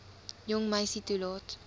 jong meisie toelaat